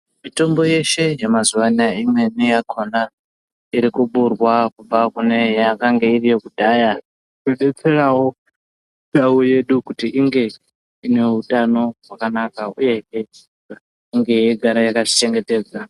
Mitombo yeshe yema zuva anaya imweni yakona iri kuburwa kubva kune yakange iri yeku dhara kudetserawo ndau yedu kuti inge ine utano hwakanaka uyehe inge yechi gara yakati chengetedza.